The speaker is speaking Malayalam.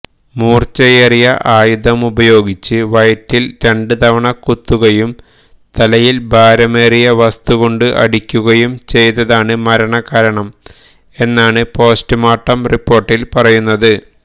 മൂർച്ചയേറിയ ആയുധമുപയോഗിച്ച് വയറ്റിൽ രണ്ടുവതണ കുത്തുകയും തലയിൽ ഭാരമേറിയ വസ്തുകൊണ്ട് അടിക്കുകയും ചെയ്തതാണ് മരണകാരണം എന്നാണ് പോസ്റ്റ്മോർട്ടം റിപ്പോർട്ടിൽ പറയുന്നത്